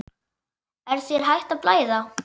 Er þér hætt að blæða?